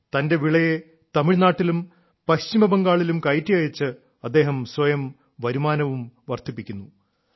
തന്റെ വിളയെ തമിഴ്നാട്ടിലും പശ്ചിമബംഗാളിലും കയറ്റി അയച്ച് അദ്ദേഹം സ്വയം വരുമാനവും വർദ്ധിപ്പിക്കുന്നു